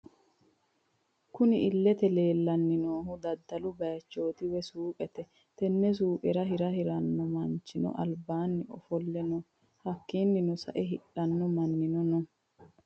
Kunni illete leelani noohu daddalu bayiichoti woyi suuqete tene suuqerra Hira hirano manchino alibaani ofolle no hakiino sa'eena hidhano maninno no.